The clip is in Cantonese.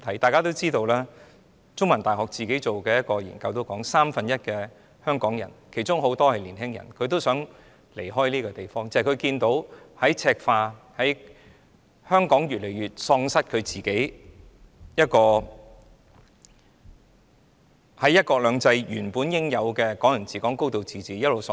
大家也知道，香港中文大學進行的一項研究指出，三分之一的香港人——其中有很多是青年人——也想離開香港，因為他們看到香港正在赤化，看到香港在"一國兩制"下原應享有的"港人治港"、"高度自治"正一直流失。